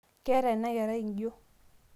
keeta ina kerai injio